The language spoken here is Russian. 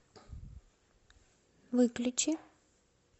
выключи